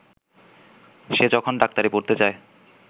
সে যখন ডাক্তারি পড়তে চায়